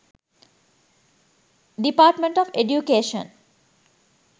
department of education